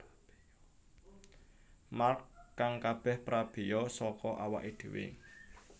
Mark kang kabeh prabeya saka awaké dhéwé